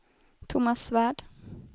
Tomas Svärd